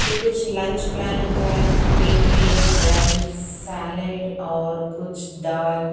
के कुछ lunch planning का है प्लेट में राइस सैलेड और कुछ दाल--